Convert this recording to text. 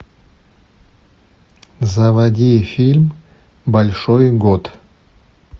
заводи фильм большой год